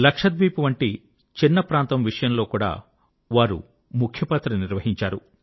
లక్షద్వీప్ వంటి చిన్న ప్రాంతం విషయంలో కూడా వారు ముఖ్య పాత్ర నిర్వహించారు